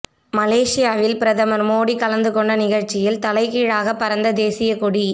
மலேசியாவில் பிரதமர் மோடி கலந்துகொண்ட நிகழ்ச்சியில் தலைகீழாக பறந்த தேசிய கொடி